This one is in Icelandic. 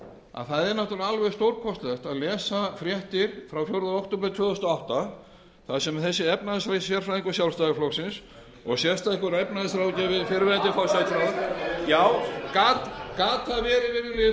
að það er nátturlega alveg stórkostlegt að lesa fréttir frá fjórða október tvö þúsund og átta þar sem þessi efnahagssérfræðingur sjálfstæðisflokksins og sérstakur efnahagsráðgjafi fyrrverandi forsætisráðherra já gat það verið virðulegi forseti að sjálfstæðismenn færu af hjörunum þegar verið væri að rifja